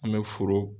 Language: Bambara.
An bɛ foro